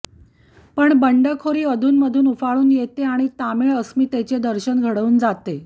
पण बंडखोरी अधूनमधून उफाळून येते आणि तमिळ अस्मितेचे दर्शन घडवून जाते